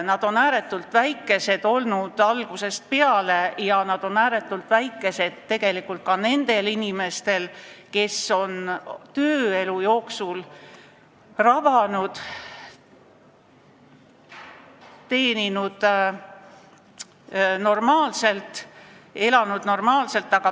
Nad on ääretult väikesed olnud algusest peale ja nad on ääretult väikesed tegelikult ka nendel inimestel, kes on tööelu jooksul rabanud, teeninud ja elanud normaalselt.